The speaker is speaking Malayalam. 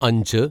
അഞ്ച്